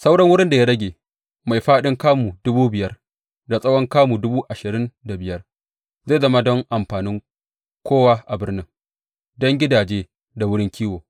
Sauran wurin da ya rage mai fāɗin kamu dubu biyar da tsawon kamu dubu ashirin da biyar zai zama don amfanin kowa a birnin, don gidaje da wurin kiwo.